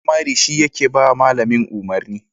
Shugaban firamare shi yake ba malamin umarni